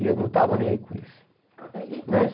E eu não estava nem aí com isso. É e mas